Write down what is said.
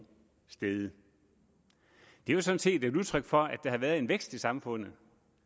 steget det er sådan set et udtryk for at der har været en vækst i samfundet